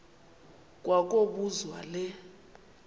kwa kobuzwa le